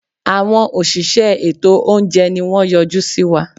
Àwọn òṣìṣẹ́ ètò óúnjẹ ni wọ́n yọjú síwa.